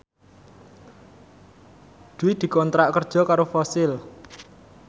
Dwi dikontrak kerja karo Fossil